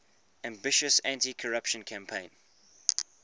ambitious anticorruption campaign